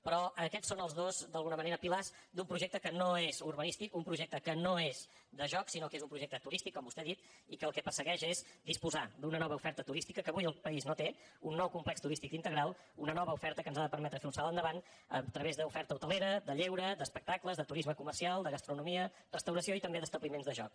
però aquests són els dos d’alguna manera pilars d’un projecte que no és urbanístic un projecte que no és de joc sinó que és un projecte turístic com vostè ha dit i que el que persegueix és disposar d’una nova oferta turística que avui el país no té un nou complex turístic integral una nova oferta que ens ha de permetre fer un salt endavant a través d’oferta hotelera de lleure d’espectacles de turisme comercial de gastronomia de restauració i també d’establiments de joc